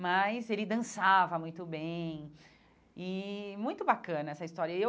mas ele dançava muito bem e muito bacana essa história e eu.